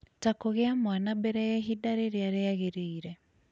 ta kũgĩa mwana mbere ya ihinda rĩrĩa rĩagĩrĩire,